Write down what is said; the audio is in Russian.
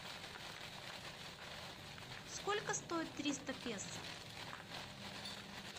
сколько стоит триста песо